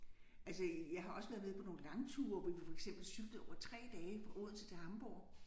Altså jeg har også været med på nogle langture hvor vi for eksempel cyklede over 3 dage fra Odense til Hamborg